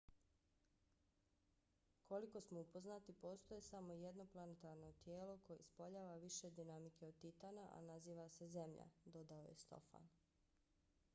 koliko smo upoznati postoji samo jedno planetarno tijelo koje ispoljava više dinamike od titana a naziva se zemlja dodao je stofan